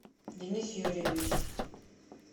денис юрьевич